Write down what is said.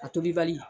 A tobi bali